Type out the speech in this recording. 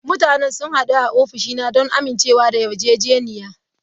Mutanen sun hadu a ofishina don amincewa da yarjejeniya.